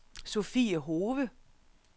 Sophie Hove